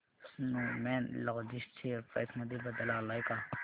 Snowman logistics share price मध्ये बदल आलाय का